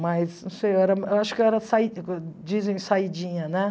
Mas, não sei, eu era eu acho que eu era, dizem, saídinha, né?